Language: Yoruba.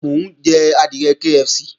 Mò ń jẹ adìẹ KFC